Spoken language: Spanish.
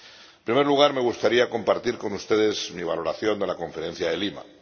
En primer lugar, me gustaría compartir con ustedes mi valoración de la Conferencia de Lima.